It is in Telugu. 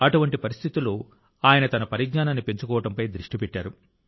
అటువంటి పరిస్థితిలో ఆయన తన పరిజ్ఞానాన్ని పెంచుకోవడంపై దృష్టి పెట్టారు